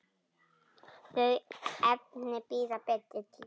Þau efni bíða betri tíma.